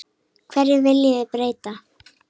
Hverju viljið þið breyta?